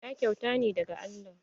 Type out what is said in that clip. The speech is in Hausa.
Ɗa kyauta ne daga Allah.